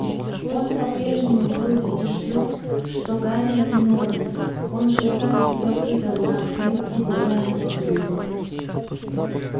он по-прежнему был убеждён что гарри виновен он же сам себя выдал на открытии дуэльного клуба